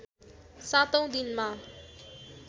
सातौँ दिनमा